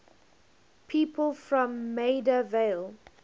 people from maida vale